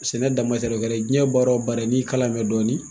Sɛnɛ o kɛra jiyɛn baara o baara ye n'i kalan bɛ dɔɔni.